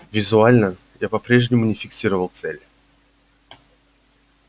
визуально я по-прежнему не фиксировал цель